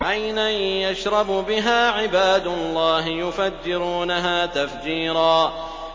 عَيْنًا يَشْرَبُ بِهَا عِبَادُ اللَّهِ يُفَجِّرُونَهَا تَفْجِيرًا